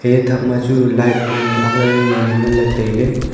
eya thakma chu light jawnu ak niley tailey nganley.